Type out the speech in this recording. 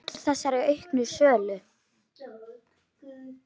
Hvað veldur þessari auknu sölu?